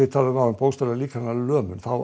bókstaflega líkamlega lömun þá